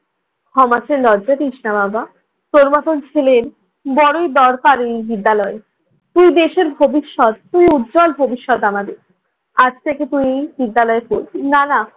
ক্ষমা চেয়ে লজ্জা দিস না বাবা। তোর মতন ছেলের বড়ই দরকার এই বিদ্যালয়ে। তুই দেশের ভবিষ্যৎ, তুই উজ্জ্বল ভবিষ্যৎ আমাদের। আজ থেকে তুই এ বিদ্যালয়ে পড়বি। না না